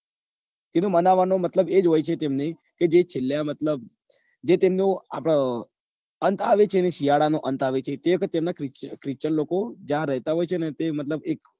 એને મનાવવા નો મતલબ એ જ હોય છે એમને કે જે છેલ્લા મતલબ જ એ તેમને અંત આવે છે ને શીયાળા નો અંત આવે છે તે વખતે તેમના christian લોકો જ્યાં રહેતા હોય છે ને ત્યાં